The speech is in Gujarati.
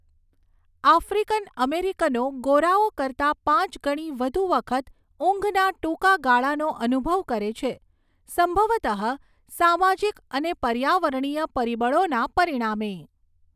આફ્રિકન અમેરિકનો ગોરાઓ કરતાં પાંચ ગણી વધુ વખત ઊંઘના ટૂંકા ગાળાનો અનુભવ કરે છે, સંભવતઃ સામાજિક અને પર્યાવરણીય પરિબળોના પરિણામે.